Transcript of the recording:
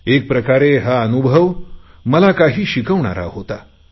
एक प्रकारे हा अनुभव मला काही शिकवणारा होता